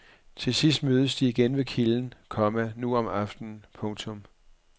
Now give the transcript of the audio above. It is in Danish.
Til sidst mødes de igen ved kilden, komma nu om aftenen. punktum